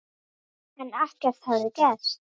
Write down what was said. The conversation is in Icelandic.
En ekkert hafði gerst.